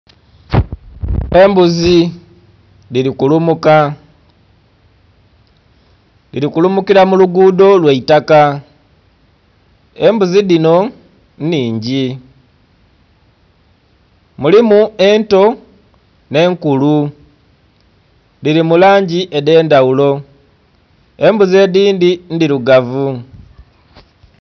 Embuzi dhili kulumuka, dhili kulumukila mu luguudho lwa itaka. Embuzi dhinho nnhingi, mulimu ento nh'enkulu. Dhili mu langi edh'endhaghulo, embuzi edhindhi ndhilugavu.